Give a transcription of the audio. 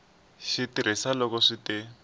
xi tirhisa loko swi te